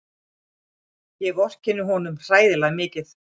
Ég vorkenni honum hræðilega mikið.